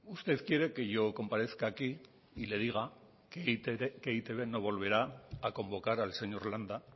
usted quiere que yo comparezca aquí y le diga que e i te be no volverá a convocar al señor landa